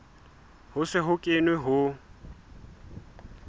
ho se ho kenwe ho